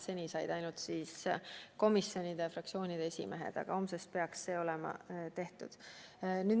Seni said ainult komisjonide ja fraktsioonide esimehed, aga homsest peaks see olema tehtud.